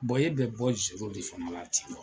e bɛ bɔ zoro de fana la ten